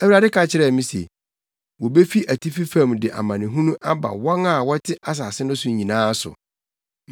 Awurade ka kyerɛɛ me se, “Wobefi atifi fam de amanehunu aba wɔn a wɔte asase no so nyinaa so.